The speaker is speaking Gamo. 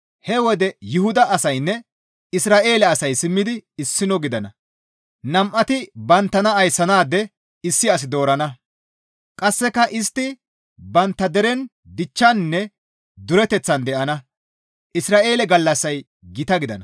He wode Yuhuda asaynne Isra7eele asay simmidi issino gidana. Nam7ati banttana ayssanaade issi as doorana. Qasseka istti bantta deren dichchaninne dureteththan de7ana. Izra7eele gallassay gita gidana.